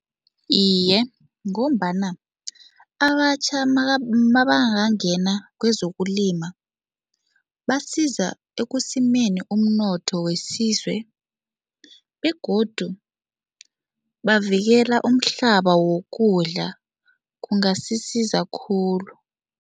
Iye, ngombana abatjha mabangangena kwezokulima, basiza ekusimeni umnotho wesizwe begodu bavikela umhlaba wokudla, kungasisiza khulu.